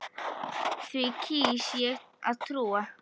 Því kýs ég að trúa.